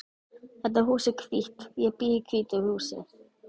Þetta hús er hvítt. Ég bý í hvítu húsi.